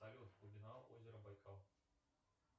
салют глубина озера байкал